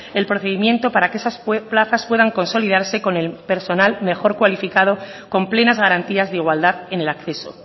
el procedimiento para que esas plazas puedan consolidarse con el personal mejor cualificado con plenas garantías de igualdad en el acceso